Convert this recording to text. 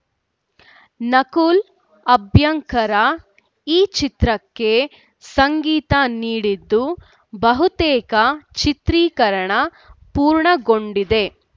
ನಕುಲ್‌ ಅಭ್ಯಂಕರ್‌ ಈ ಚಿತ್ರಕ್ಕೆ ಸಂಗೀತ ನೀಡಿದ್ದು ಬಹುತೇಕ ಚಿತ್ರೀಕರಣ ಪೂರ್ಣಗೊಂಡಿದೆ